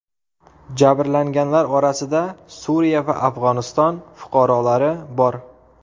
Jabrlanganlar orasida Suriya va Afg‘oniston fuqarolari bor.